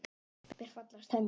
Mér fallast hendur.